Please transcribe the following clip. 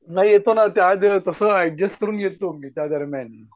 नाही येतना त्यां तसं ऐडजेस्ट करून घेतो मी त्या दरम्यान.